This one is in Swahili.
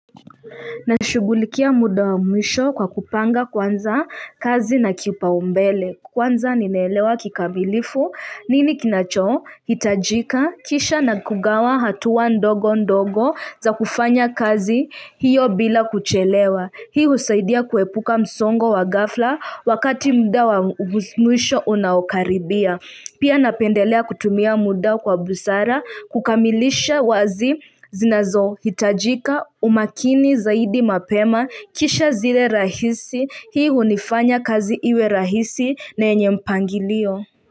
Na shugulikia muda wa mwisho kwa kupanga kwanza kazi na kipaumbele Kwanza ninaelewa kikamilifu nini kinacho hitajika kisha na kugawa hatuwa ndogo ndogo za kufanya kazi hiyo bila kuchelewa Hii usaidia kuepuka msongo wa ghafla wakati muda wa mwisho unapokaribia Pia napendelea kutumia muda kwa busara kukamilisha kazi zinazo hitaji umakini zaidi mapema kisha zile rahisi Hii uifanya kazi iwe rahisi na yenye mpangilio.